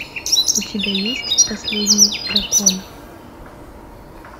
у тебя есть последний дракон